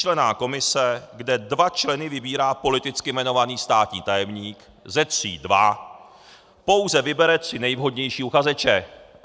Tříčlenná komise, kde dva členy vybírá politicky jmenovaný státní tajemník, ze tří dva, pouze vybere tři nejvhodnější uchazeče.